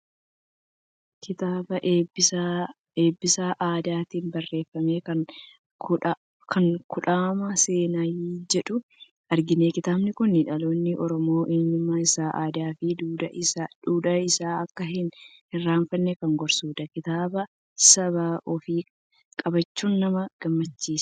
Kitaabaa Eebbisaa Aadaatiin barreeffame kan " Kudhaama Seenaa" jedhu argina. Kitaabni kun dhaloonni Oromoo eenyummaa isaa, aadaa fi duudhaa isaa akka hin irraanfanne kan gorsudha. Kitaaba saba ofii qabaachuun nama gammachiisa!